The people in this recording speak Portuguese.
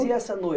E essa